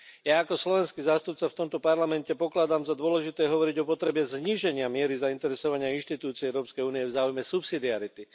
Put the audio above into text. Ja ako slovenský zástupca v tomto Parlamente pokladám za dôležité hovoriť o potrebe zníženia miery zainteresovania inštitúcií Európskej únie v záujme subsidiarity.